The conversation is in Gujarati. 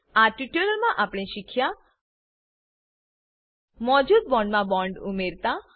આ ટ્યુટોરીયલ માં આપણે શીખ્યા મોજુદ બોન્ડમા બોન્ડ ઉમેરતા